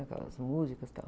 Aquelas músicas, tal.